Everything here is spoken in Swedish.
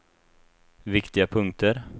viktiga punkter